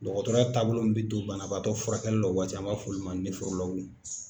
Dɔgɔtɔrɔ taabolo min bɛ don banabaatɔ furakɛli la o waati an b'a fɔ olu ma .